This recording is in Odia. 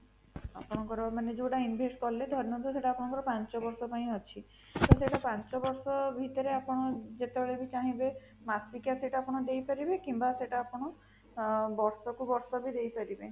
ଆପଣଙ୍କର ମାନେ ଯୋଉଟା invest କଲେ ଧରି ନିଅନ୍ତୁ ସେଟା ଆପଣଙ୍କର ପାଞ୍ଚ ବର୍ଷ ପାଇଁ ଅଛି, ତ ସେଟା ପାଞ୍ଚ ବର୍ଷ ଭିତରେ ଆପଣ ଯେତେବେଳେ ବି ଚାହିଁବେ ମାସିକିଆ ସେଟା ଆପଣ ଦେଇପାରିବେ କିମ୍ବା ସେଟା ଆପଣ ବର୍ଷ କୁ ବର୍ଷ ବି ଦେଇପାରିବେ